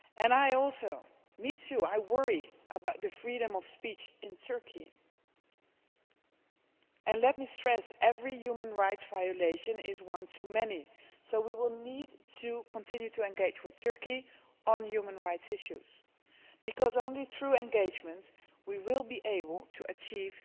I also worry about the freedom of speech in Turkey and let me stress every human rights violation is one too many so we will need to continue to engage with Turkey on human rights issues, because only through engagement will we be able to achieve